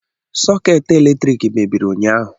Sọkeetị eletriki mebiri ụnyaahụ